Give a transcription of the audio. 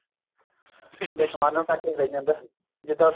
ਵੀ ਅਸਮਾਨ ਨੂੰ ਟਾਕੀ ਲਾਈ ਜਾਂਦਾ ਜਿੱਦਾ